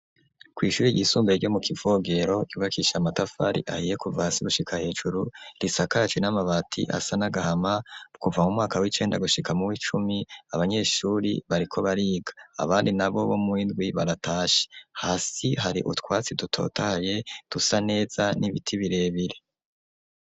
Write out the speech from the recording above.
Kw'ishure ryisumbuye ryo mukivogero ryubakishije amatafari ahiye kuva hasi gushika hejuru ,risakaje n'amabati asa n'agahama kuva mu mwaka w'icenda kushika mu w'icumi ,abanyeshure bariko bariga abandi nabo bo mu w'indwi baratashe, hasi hari utwatsi dutatahaye dusa neza n'ibiti birebire.